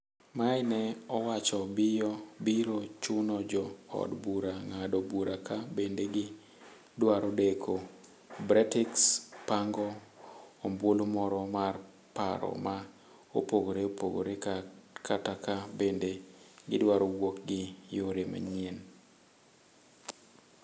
May ne owacho biro chuno jo od bura ng'ado bura ka bende gi dwaro deko Bretix, pango ombulu moro mar paro ma opogore opogore kata ka bende " gidwaro wuok gi yore manyien